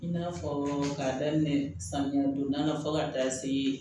I n'a fɔ k'a daminɛ samiya don da fɔ ka da se